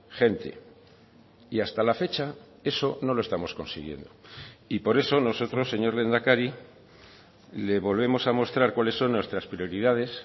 gente y hasta la fecha eso no lo estamos consiguiendo y por eso nosotros señor lehendakari le volvemos a mostrar cuáles son nuestras prioridades